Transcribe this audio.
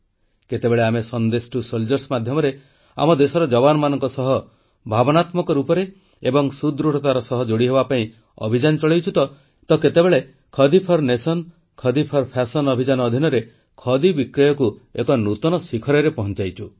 କେତେବେଳେ ଆମେ Sandesh to soldiers ମାଧ୍ୟମରେ ଆମ ଦେଶର ଯବାନମାନଙ୍କ ସହ ଭାବନାତ୍ମକ ଭାବେ ଏବଂ ସୁଦୃଢ଼ତାର ସହ ଯୋଡ଼ି ହେବା ପାଇଁ ଅଭିଯାନ ଚଳାଇଛୁ ତ କେତେବେଳେ ଦେଶ ପାଇଁ ଖଦି ଓ ଫ୍ୟାଶନ ପାଇଁ ଖଦି ଅଭିଯାନ ଅଧୀନରେ ଖଦି ବିକ୍ରୟକୁ ଏକ ନୂତନ ଶିଖରରେ ପହଂଚାଇଛୁ